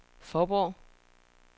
Fåborg